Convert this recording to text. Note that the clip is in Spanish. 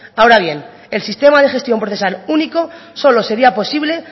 ahora bien el sistema de gestión procesal único solo sería posible